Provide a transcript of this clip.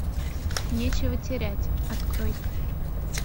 нечего терять открой